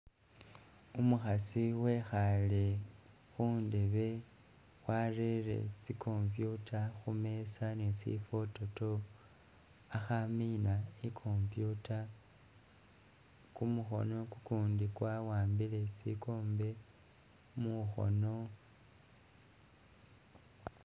Umukhasi wekhaale khundebe warere tsi computer khumeza ni sifwototo akhamiina i'computer, kumukhono kukundi kwawambile sikombe mukhoono.